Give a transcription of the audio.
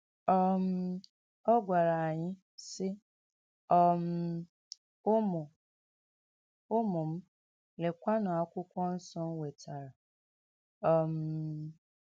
um Ọ gwara anyị, sị: um “ Ụmụ “ Ụmụ m, lekwanụ Akwụkwọ Nsọ m nwetara um. ”